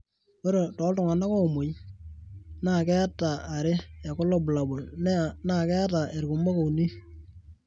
ore tooltung'anak oomuoi naa keeta 2 ekulo bulabol, naa keeta irkumok 3.